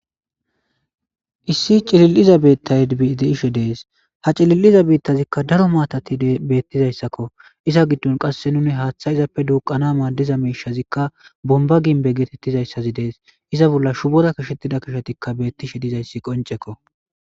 Issi cilill7iza beettaydide ishe dees ha cilil7iza biittazikka daro maatati beettizayssakko iza giddon qasse nuni haaththa izappe duuqana maaddiza miishazikka bomba ginbe geetettizayssazi dees iza bolla shubora kishettida kishotikka bettishe dizayssi qoncekko.